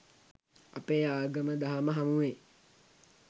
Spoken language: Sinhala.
අපේ ආගම දහම හමුවේ